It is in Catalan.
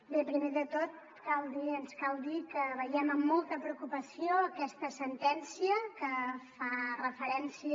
bé primer de tot cal dir ens cal dir que veiem amb molta preocupació aquesta sentència que fa referència